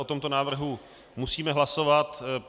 O tomto návrhu musíme hlasovat.